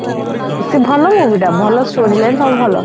ସେ ଭଲ movie ଟା ଭଲ story ଜାଣିଛ ସବୁ ଭଲ